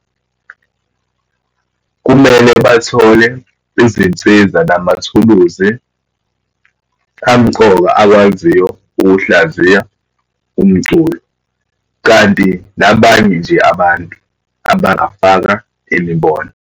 Kumele bathole izinsiza, namathuluzi amqoka, akwaziyo ukuhlaziya umculo. Kanti nabanye nje abantu abangafaka imibono.